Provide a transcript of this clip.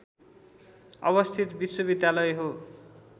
अवस्थित विश्वविद्यालय हो